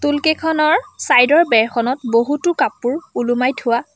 টোল কেইখনৰ চাইডৰ বেৰখনত বহুতো কাপোৰ ওলোমাই থোৱা।